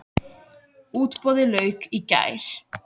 Útboði lauk í gær.